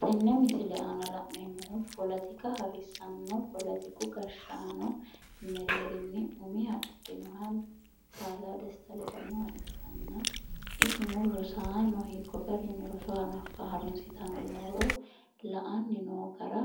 Tenne misile aana la'neemmohu poletika harissanno poletiku gashshaano mereerinni umiha ikkinoha kalaa desta ledamoha ikkanna isino rosaano hiikko garinni roso harunsitanni nooro la"anni noo gara